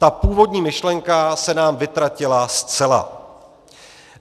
Ta původní myšlenka se nám vytratila zcela.